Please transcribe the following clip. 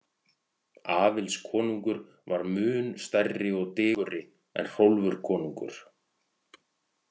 Aðils konungur var mun stærri og digurri en Hrólfur konungur.